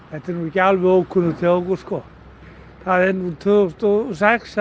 þetta er ekki alveg ókunnugt hjá okkur tvö þúsund og sex